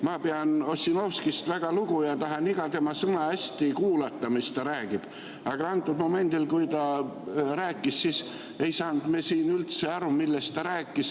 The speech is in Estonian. Ma pean Ossinovskist väga lugu ja tahan iga tema sõna, mis ta räägib, hästi kuulata, aga antud momendil, kui ta rääkis, ei saanud me siin üldse aru, millest ta rääkis.